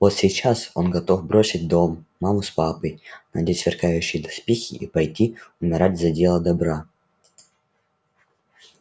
вот сейчас он готов бросить дом маму с папой надеть сверкающие доспехи и пойти умирать за дело добра